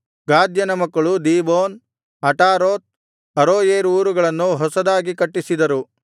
ಗಾದ್ಯನ ಮಕ್ಕಳು Dibon Ataroth Aroer ಊರುಗಳನ್ನು ಹೊಸದಾಗಿ ಕಟ್ಟಿಸಿದರು